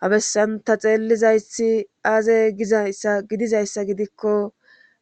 Ha bessan ta xeellizayti aaze gizayssa gidizayssa gidikko